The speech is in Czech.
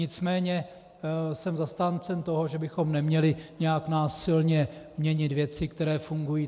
Nicméně jsem zastáncem toho, že bychom neměli nějak násilně měnit věci, které fungují.